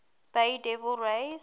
bay devil rays